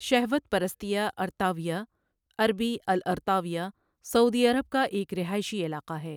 شہوت پرستیا ارطاویہ عربی الأرطاوية سعودی عرب کا ایک رہائشی علاقہ ہے۔